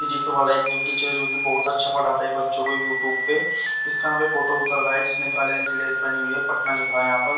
physics वाला एक जो टीचर है जो कि बहुत अच्छा पढ़ाता है बच्चों को यू ट्यूब पे इसका यहाँ पे फोटो उतर रहा है जिसने काले रंग की ड्रेस पहनी हुई है पटना लिखा है यहाँ पर--